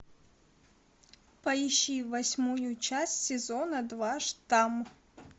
поищи восьмую часть сезона два штамм